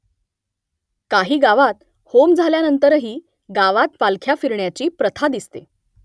काही गावांत होम झाल्यानंतरही गावात पालख्या फिरत राहण्याची प्रथा दिसते